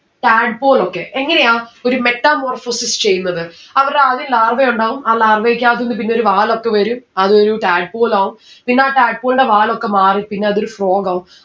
tadpole okay. എങ്ങനെയാ ഒരു metamorphosis ചെയുന്നത്? അവർ ആദ്യം larvae ഉണ്ടാവും ആ larva യിക്കാത്തിന്ന് പിന്നൊരു വാലൊക്കെ വരും അത് ഒരു tadpole ആവും പിന്ന ആ tadpole ന്റെ വാലൊക്കെ മാറി പിന്ന അതൊരു frog ആവും